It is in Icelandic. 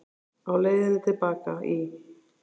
Á leiðinni til baka í